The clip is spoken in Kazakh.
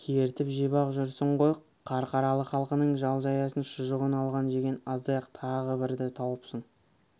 кертіп жеп-ақ жүрсің ғой қарқаралы халқының жал-жаясын шұжығын алған жеген аздай-ақ тағы бірді тауыпсың